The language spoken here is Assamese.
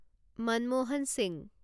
মনমোহন সিংহ